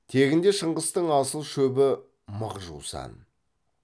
тегінде шыңғыстың асыл шөбі мық жусан